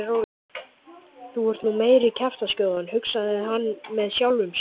Þú ert nú meiri kjaftaskjóðan hugsaði hann með sjálfum sér.